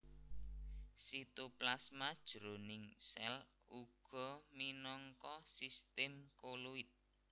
Sitoplasma jroning sèl uga minangka sistem koloid